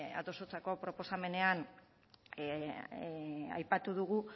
adostutako proposamenean aipatu dugu